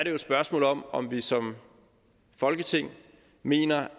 jo et spørgsmål om om vi som folketing mener